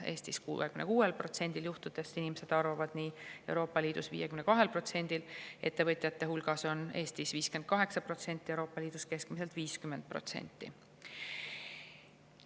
Eestis 66%-l juhtudest inimesed arvavad nii, Euroopa Liidus 52%-l, ettevõtjate hulgas Eestis 58%, Euroopa Liidus keskmiselt 50%.